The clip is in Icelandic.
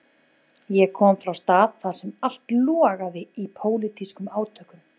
Ég kom frá stað þar sem allt logaði í pólitískum átökum.